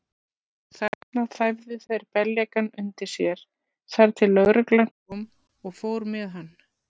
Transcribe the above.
Þarna þæfðu þeir beljakann undir sér, þar til lögreglan kom og fór með hann.